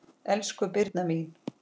Elsku Birna mín.